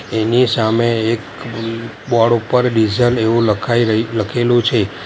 એની સામે એક અમમ બોર્ડ ઉપર ડીઝલ એવું લખાઈ રઈ લખેલું છે.